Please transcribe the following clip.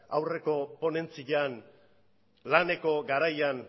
aurreko ponentzian laneko garaian